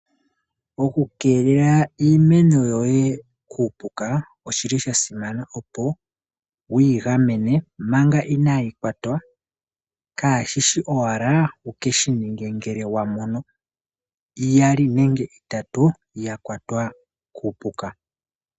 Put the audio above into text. Okukeelela iimeno yoye kuupuka oshili sha simana opo wuyi gamen manga inayi kwatwa kashishi owala wukeshi ninge ngele wamono iyali nenge itatu yakwatwa kuupuka.